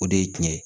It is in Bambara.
O de ye tiɲɛ ye